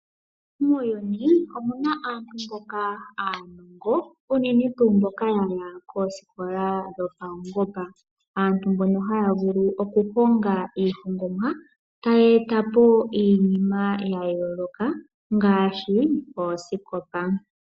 Muuyuni omu na aantu mboka aanongo unene tu mboka ya ya kooskola dhopaungomba. Aantu mbono haya vulu okuhonga iihongomwa e taya eta po iinima ya yoloka ngashi ooskopa.